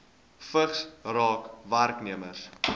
vigs raak werknemers